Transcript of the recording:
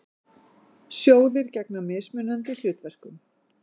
Sjóðir gegna mismunandi hlutverkum.